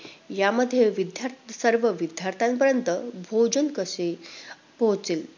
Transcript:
यामध्ये विद्यार्~ सर्व विद्यार्थ्यांपर्यंत भोजन कसे पोहोचेल?